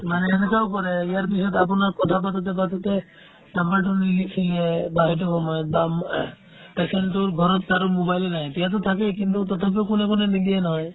মানে এনেকুৱাও কৰে ইয়াৰ পিছত আপোনাৰ কথাপাতোতে পাতোতে number টো নিলিখিলে বা সেইটো সময়ত বা patient তোৰ ঘৰত কাৰো mobile য়ে নাই তেওঁতো তাতে কিন্তু তথাপিও কোনে কোনে নিদিয়ে নহয়